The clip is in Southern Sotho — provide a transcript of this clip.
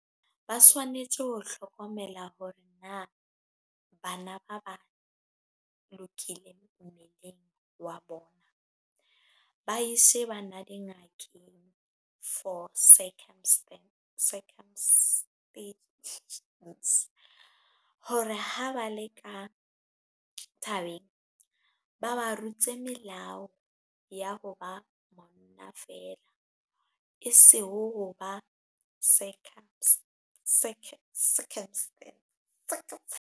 Ba swanetse ho hlokomela hore na bana ba lokile mmeleng wa bona, ba ise bana dingakeng for circumcisions hore ha ba le ka thabeng, ba ba rute melao ya ho ba monna fela e ho ba .